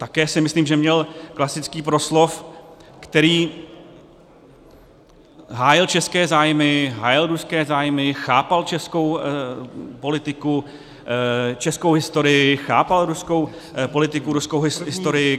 Také si myslím, že měl klasický proslov, který hájil české zájmy, hájil ruské zájmy, chápal českou politiku, českou historii, chápal ruskou politiku, ruskou historii.